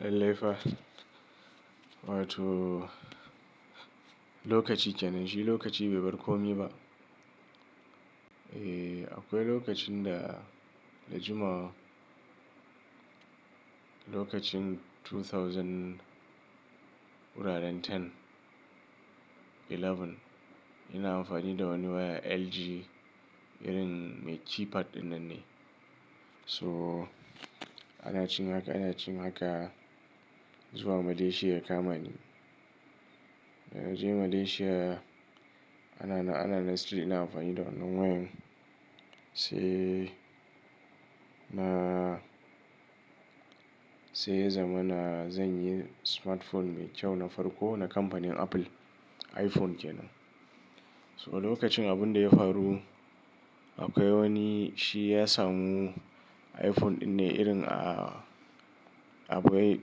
Lallai fa. Wato lokaci kenan shi lokaci bai bar ko mi ba. Eh, akwai lokacin da, da jumawa lokacin 2010, 11 ina amfani da wani waya LG irin mai keypad ɗinnan ne. So ana ci maka, ana ci maka zuwa Malaysia ya kamani. Da naje Malaysia ana-nan ana-nan still ina amfani da wannan wayan sai na, sai ya zama na, zan yi smartphone mai kyau na farko na kamfanin Apple, iPhone kenan. So a lokacin abin da ya faru akwai wani shi ya samu iPhone ɗin ne irin abu wai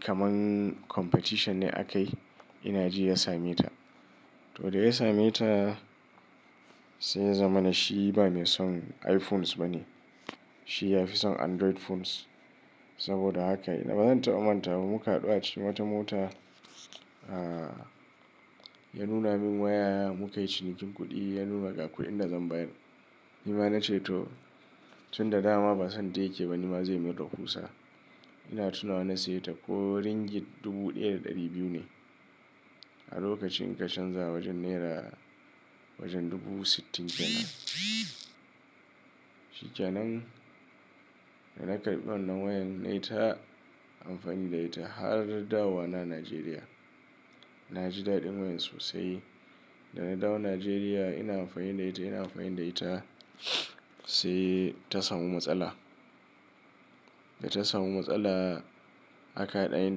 kaman competition ne aka yi ina ji ya same ta. To da ya same ta sai ya zama na shi ba mai son iPhones ba ne. Shi ya fi son Android phones. Saboda haka bazan taɓa mantawa ba muka haɗu a cikin wata mota, ya nuna min waya muka yi cinikin kuɗi, ya nuna ka kuɗin da zan bayar. Ni ma na ce to. Tun da dama ba son ta yake ba ni ma zai min rahusa. Ina tunawa na siye ta ko Ringgit dubu ɗaya da ɗari biyu ne. A lokacin ka canza wajen naira wajen dubu sittin kenan. Shi kenan da na karɓi wannan wayan na yi ta amfani da ita har dawowa na Najeriya. Na ji daɗin wayan sosai. Da na dawo Najeriya ina amfani da ita, ina amfani da ita sai ta samu matsala. Da ta samu matsala aka haɗa ni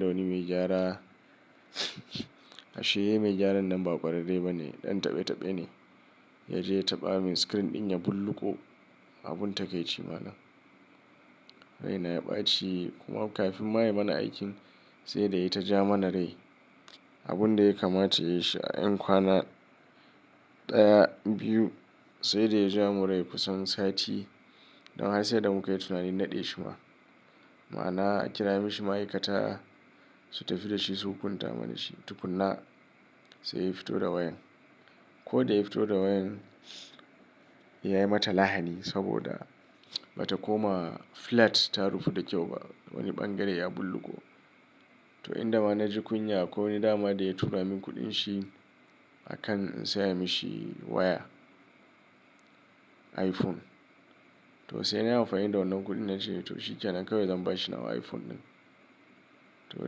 da wani mai gyara. Ashe mai gyaran nan ba ƙwararre ba ne, ɗan taɓe-taɓe ne. Yaje ya taɓa min screen ɗin ya bulloƙo abun taƙaici malan. Rai na ya ɓaci kuma kafin ma ya mana aikin sai da ya yi ta ja mana rai. Abun da ya kamata ya yi shi a 'yan kwana ɗaya, biyu sai da ya ja mu rai kusan sati don har sai da muka yi tunani naɗe shi ma. Ma'ana a kira mishi ma'aikata su tafi da shi su hukunta mana shi tukuna sai ya fito da wayan. Ko da ya fito da wayan ya yi mata lahani saboda bata koma flat ta rufu da kyau ba. Wani ɓangare ya bulloƙo. To in da ma na ji kunya akwai wani dama da ya tura min kuɗin shi a kan in saya mishi waya iPhone. To sai na yi amfani da wannan kuɗin na ce to shi kenan kawai zan bashi nawa iPhone ɗin. To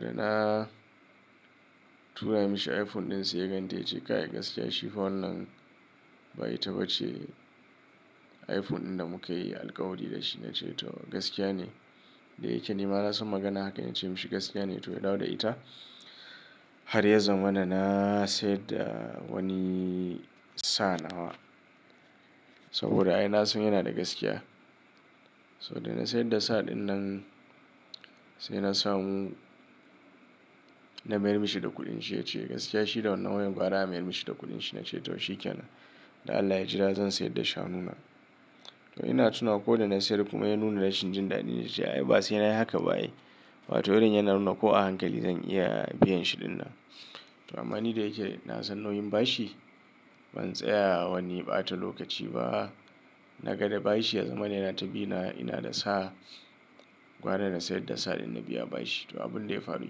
da na tura mishi iPhone ɗin sai ya ganta ya ce kai gaskiya shi fa wannan ba ita bace ce iPhone ɗin da muka yi alƙawari da shi na ce to gaskiya ne. Da yake ni ma na san magana haka ina ce mishi gaskiya ne to ya dawo da ita. Har ya zama na na sayar da wani sa nawa. Saboda ai na san yana da gaskiya. So da na sayar da sa ɗin nan sai na samu na mayar mishi da kuɗin shi ya ce gaskiya shi da wannan wayan gwara a mayar mishi da kuɗin shi na ce to shi kenan. Da Allah ya jira zan sayar da shanu na. To ina tuna ko da na sayar kuma ya nuna rashin jin daɗi yace ai ba sai na yi haka ba ai. Wato irin yana nuna ko a hankali zan iya biyan shi ɗin nan. To amma ni da yake na san nauyin bashi ban tsaya wani ɓata lokaci ba. Na ga da bashi ya zamana yana ta bi na ina da sa gwara na sayar da sa ɗin na biya bashi. To abun da ya faru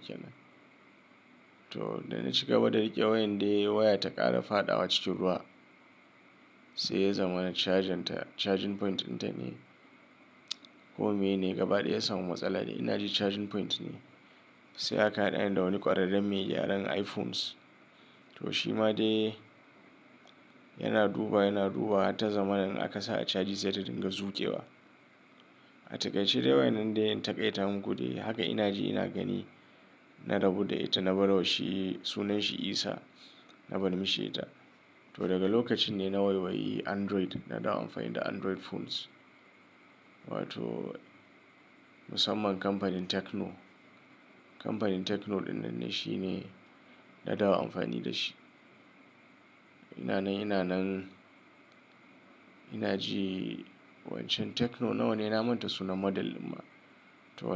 kenan. To da na ci gaba da riƙe wayan dai waya ta ƙara fadawa cikin ruwa sai ya zama na chargenta, charging point ɗinta ne ko meyene gaba ɗaya ya samu matsala dai ina ji charging point ne. Sai aka haɗa ni da wani ƙwararren mai gyaran iPhones. To shi ma dai yana duba, yana dubawa har ta zama in aka sa a caji sai ta dinga zuƙewa. A takaici dai wayan nan dai na in taƙaita mu dai haka ina ji ina gani na rabu da ita na barwa shi sunan shi Isa na barin mishi ta. To daga lokacin ne na waiwayi Android na dawo amfani da Android phones. Wato musamman kamfanin Tecno. Kamfanin Tecno ɗin nan ne shi ne na dawo amfani da shi. Ina nan, ina nan ina ji wancan Tecno nawa ne na manta suna model ɗin ma. To.